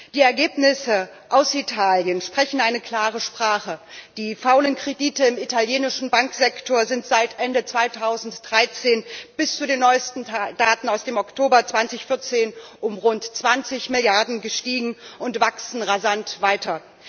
Die Ergebnisse aus Italien sprechen eine klare Sprache Die faulen Kredite im italienischen Bankensektor sind seit Ende 2013 bis zu den neuesten Daten aus dem Oktober 2014 um rund 20 Milliarden gestiegen und wachsen rasant weiter.